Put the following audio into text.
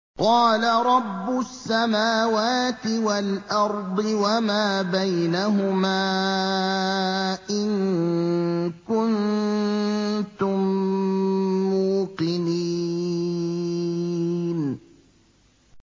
قَالَ رَبُّ السَّمَاوَاتِ وَالْأَرْضِ وَمَا بَيْنَهُمَا ۖ إِن كُنتُم مُّوقِنِينَ